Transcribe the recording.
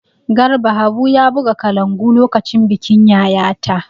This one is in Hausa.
Garba Habu ya buga kalangu lokacin bikin Yayata.